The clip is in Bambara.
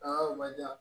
Aa o man diya